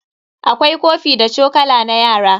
Akwai kofi da chokula na yara.